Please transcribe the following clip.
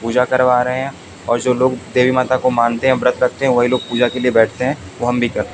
पूजा करवा रहे हैं और जो लोग देवी माता को मानते हैं व्रत रखते हैं वहीं लोग पूजा के लिए बैठते हैं वो हम भी करते--